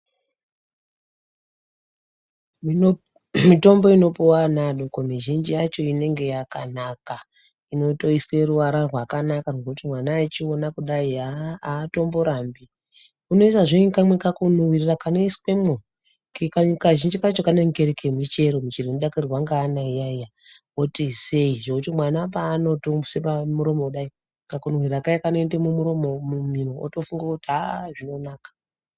Mitombo inopuwa ana adoko mizhinji yacho inenge yakanaka inotoiswe ruvara rwakanaka rwekuti mwana echiona kudai atomborambi unoisazve nekamwe kakunuhwirira kanoiswemwo Kazhinji kacho kanenge Kari kemichero michero inodakarirwa ngeana iyaiya oti isei zvekuti mwana panotoisa pamuromo kudai kakunuhwirira kaya kanoende mumiro otofunga kuti aa zvinonaka.